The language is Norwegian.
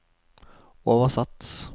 oversatt